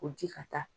O ji ka taa